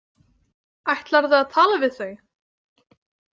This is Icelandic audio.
Ætlarðu að tala við þau?